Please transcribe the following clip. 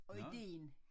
Og idéen